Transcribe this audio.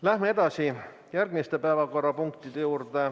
Läheme edasi järgmiste päevakorrapunktide juurde.